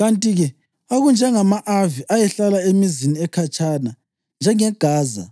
Kanti-ke okunjengama-Avi ayehlala emizini ekhatshana njengeGaza,